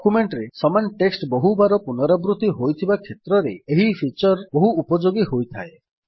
document ରେ ସମାନ text ବହୁବାର ପୁନରାବୃତ୍ତି ହୋଇଥିବା କ୍ଷେତ୍ରରେ ଏହି ଫିଚର୍ ବହୁ ଉପଯୋଗୀ ହୋଇଥାଏ